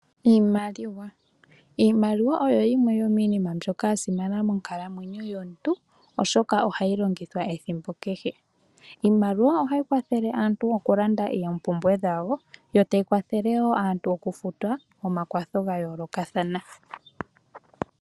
Iimaliwa, iimaliwa oyo yimwe yomiinima mbyoka ya simana monkalamwenyo yomuntu oshoka ohayi longithwa ethimbo kehe, iimaliwa ohayi kwathele aantu okulanda oopumbwe dhawo, yo tayi kwathele woo aantu okufuta omakwatho ga yoolokathana.